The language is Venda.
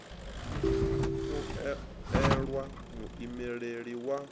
u o elwa muimeleli wa